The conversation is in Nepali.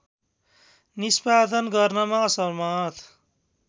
निष्‍पादन गर्नमा असमर्थ